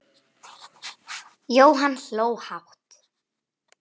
Jóhann hló hátt.